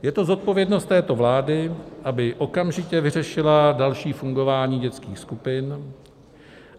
Je to zodpovědnost této vlády, aby okamžitě vyřešila další fungování dětských skupin.